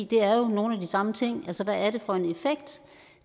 det er jo nogle af de samme ting altså hvad er det for en effekt